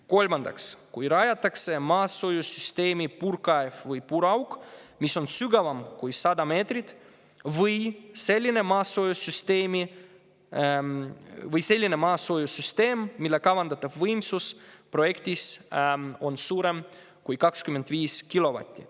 Kolmandaks, kui rajatakse maasoojussüsteemi puurkaev või puurauk, mis on sügavam kui 100 meetrit, või selline maasoojussüsteem, mille kavandatav võimsus projektis on suurem kui 25 kilovatti.